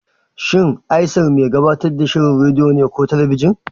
Shin Aisar mai gabatar da shirin rediyo ne ko talabijin?